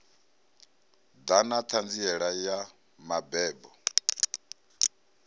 ḓa na ṱhanziela ya mabebo